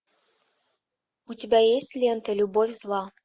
у тебя есть лента любовь зла